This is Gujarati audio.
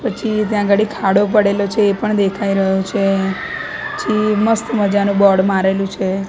પછી ત્યાં ગળી ખાડો પડેલો છે એ પણ દેખાય રહ્યો છે પછી મસ્ત મજાનું બોર્ડ મારેલું છે.